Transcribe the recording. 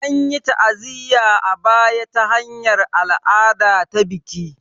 An yi ta'aziyya a baya ta hanyar al'ada ta baki